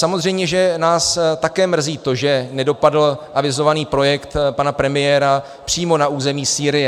Samozřejmě, že nás také mrzí to, že nedopadl avizovaný projekt pana premiéra přímo na území Sýrie.